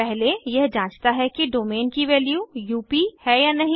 पहले यह जांचता है कि डोमेन की वैल्यू यूपी है या नहीं